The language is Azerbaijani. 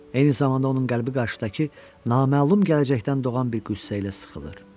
Eyni zamanda onun qəlbi qarşıdakı naməlum gələcəkdən doğan bir qüssə ilə sıxılır.